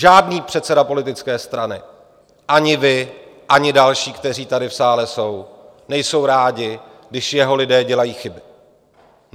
Žádný předseda politické strany, ani vy, ani další, kteří tady v sále jsou, nejsou rádi, když jeho lidé dělají chyby.